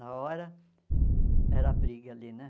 Na hora, era briga ali, né?